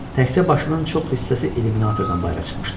Təkcə başının çox hissəsi illyuminatordan bayıra çıxmışdı.